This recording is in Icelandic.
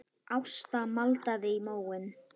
Ásta maldaði í móinn.